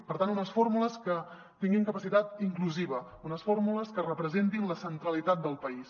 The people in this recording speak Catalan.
per tant unes fórmules que tinguin capacitat inclusiva unes fórmules que representin la centralitat del país